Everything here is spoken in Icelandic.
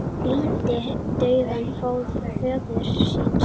Flýtti dauða föður síns